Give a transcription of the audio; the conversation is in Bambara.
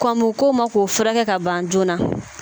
Kɔn bi k'o ma k'o furakɛ ka ban joona.